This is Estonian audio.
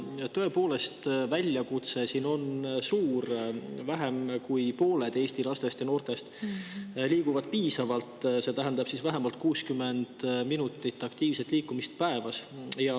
Tõepoolest, väljakutse on siin suur, sest vaid vähem kui pooled Eesti lastest ja noortest liiguvad piisavalt, mis tähendab vähemalt 60 minutit aktiivset liikumist päevas.